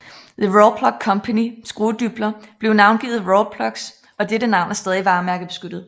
The Rawlplug Company skruedybler blev navngivet rawlplugs og dette navn er stadig varemærkebeskyttet